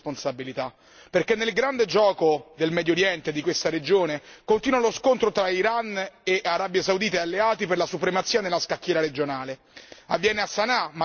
Anche noi abbiamo le nostre responsabilità, perché nel grande gioco del Medio Oriente, di questa regione, continua lo scontro tra Iran e Arabia Saudita e alleati per la supremazia nella scacchiera regionale.